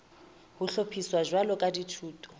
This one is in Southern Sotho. ho hlophiswa jwalo ka dithuto